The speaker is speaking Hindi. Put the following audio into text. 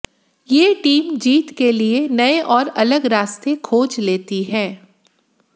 ये टीम जीत के लिए नए और अलग रास्ते खोज लेती है